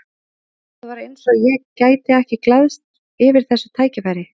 Það var eins og ég gæti ekki glaðst yfir þessu tækifæri.